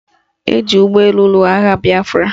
Eji ụgbọelu lụọ agha bịafra.